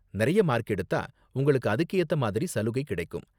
நிறைய மார்க் எடுத்தா, உங்களுக்கு அதுக்கு ஏத்த மாதிரி சலுகை கிடைக்கும்.